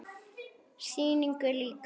Sýningu lýkur.